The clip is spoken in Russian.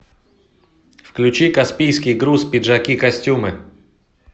включи каспийский груз пиджакикостюмы